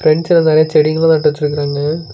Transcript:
பிரண்ட்ல நெறைய செடிங்கெல்லா நட்டு வெச்சுருக்குறாங்க.